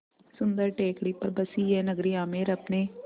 सुन्दर टेकड़ी पर बसी यह नगरी आमेर अपने